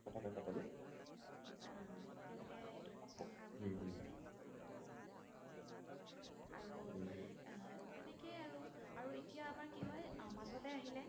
মাজলে আহিলে